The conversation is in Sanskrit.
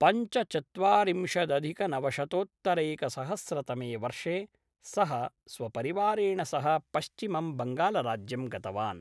पञ्चचत्वारिंशदधिकनवशतोत्तरैकसहस्रतमे वर्षे सः स्वपरिवारेण सह पश्चिमं बङ्गालराज्यं गतवान्।